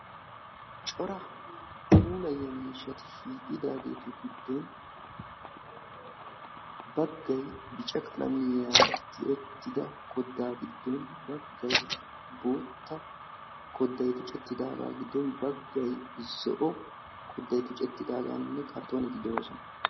Cora puulayiyaa mishshati shiiqidagetu giddoni bagay zo"owani tuccetidaga giddoni baggay qassi adi"le ciisha meernine bagay bootta qalamiyan tuccetidi qassikka kartonetikka de"oossona.